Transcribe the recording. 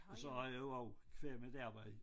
Og så har jeg jo også qua mit arbejde